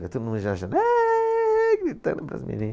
Todo mundo aaa, gritando para as meninas.